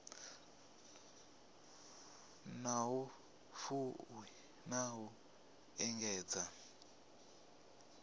na vhufuwi na u engedza